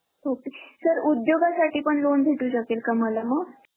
ok ते sir उद्योगासाठी पण loan भेटू शकेल का मला मग?